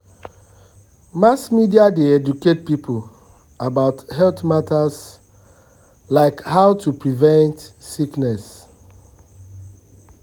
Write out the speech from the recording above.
um mass media dey educate people about health matters like how um to prevent sickness.